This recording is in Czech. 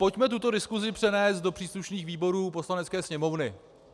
Pojďme tuto diskusi přenést do příslušných výborů Poslanecké sněmovny.